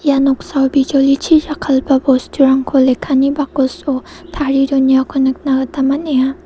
noksao bijolichi jakkalgipa bosturangko lekkani bakoso tarie donengako nikna gita man·enga.